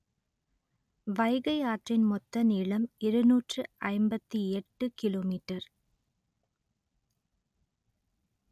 வைகை ஆற்றின் மொத்த நீளம் இருநூற்று ஐம்பத்தி எட்டு கிலோ மீட்டர்